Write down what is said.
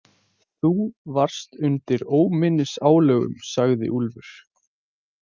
Þú varst undir óminnisálögum, sagði Úlfur.